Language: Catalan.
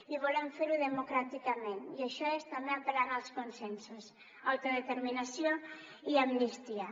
i volem fer ho democràticament i això és també apel·lant als consensos autodeterminació i amnistia